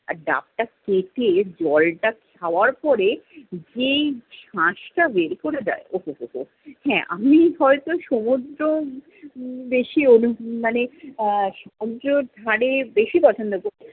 আর ডাবটা কেটে জলটা খাওয়ার পরে, যেই শাস টা বের করে দেয়, ও হো হো। হ্যা, আমি হয়ত সমুদ্র বেশি অনু~ মানে আহ সমুদ্র ধারে বেশি পছন্দ করি ।